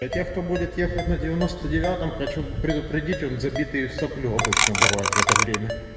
для тех кто будет ехать на девяносто девятом хочу предупредить он забитый в соплю обычно бывает в это время